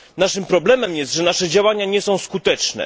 Naszym problemem jest to, że nasze działania nie są skuteczne.